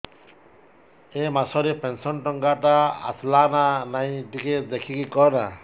ଏ ମାସ ରେ ପେନସନ ଟଙ୍କା ଟା ଆସଲା ନା ନାଇଁ ଟିକେ ଦେଖିକି କହନା